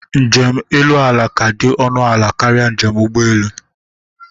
Njem elu ala ka dị ọnụ ala karịa njem ụgbọelu